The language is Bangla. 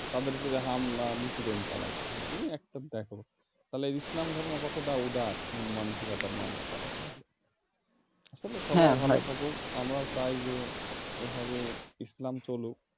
তাদের ওপর হামলা নিপীড়ন চালাইতেছে কি একটা দেখো তাহলে ইসলাম ধর্ম কতটা উদার মন মানসিকতার মানুষ তারা তাহলে আসলে সবাই ভালো থাকুক আমরাও চাই যে এভাবে ইসলাম চলুক